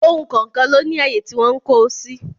Ohun kọ̀ọ̀kan ló ní àyè tí wọ́n ń kó o sí